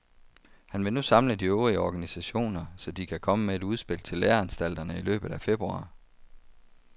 Han vil nu samle de øvrige organisationer, så de kan komme med et udspil til læreanstalterne i løbet af februar.